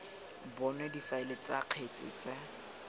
bonwe difaele tsa kgetse tsa